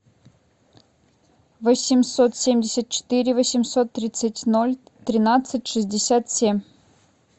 восемьсот семьдесят четыре восемьсот тридцать ноль тринадцать шестьдесят семь